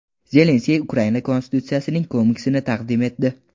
Zelenskiy Ukraina konstitutsiyasining komiksini taqdim etdi.